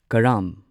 ꯀꯔꯥꯝ